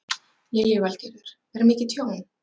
Lillý Valgerður: Er mikið tjón?